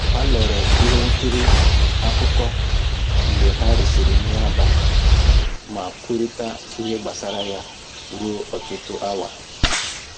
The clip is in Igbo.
Ha lere ihe nkiri akụkọ mgbe ha risịrị nri abalị ma kwurịta ihe gbasara ya ruo ọtụtụ awa